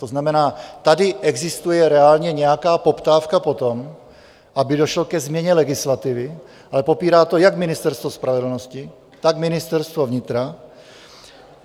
To znamená, tady existuje reálně nějaká poptávka po tom, aby došlo ke změně legislativy, ale popírá to jak Ministerstvo spravedlnosti, tak Ministerstvo vnitra.